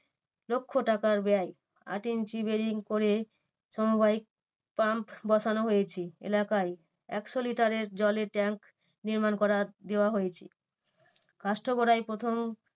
লক্ষ টাকার ব্যায়। আট ইঞ্চি boring করে সমবায়ে pamp বসানো হয়েছে। এলাকায় একশো লিটারের জলের tank নির্মাণ করার দেওয়া হয়েছে। কাষ্ঠগড়ায় প্রথম